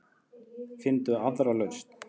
Finndu aðra lausn.